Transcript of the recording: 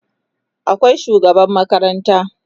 akwai shugaban makaranta